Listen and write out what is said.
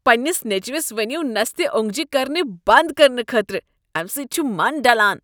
پنٛنس نیٚچوس ؤنو نستہ اونٛگجہ کرنہ بنٛد کرنہٕ خٲطرٕ۔ امہ سۭتۍ چھ من ڈلان۔